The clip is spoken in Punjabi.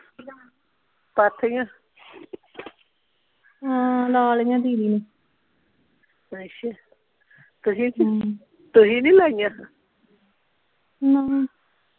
ਪਾਥੀਆਂ ਹਾਂ ਲਾ ਲਈਆਂ ਦੀਦੀ ਨੇ ਅੱਛਾ ਤੁਸੀਂ ਨਹੀਂ ਹਮ ਤੁਸੀਂ ਨਹੀਂ ਲਾਈਆਂ ਨਾ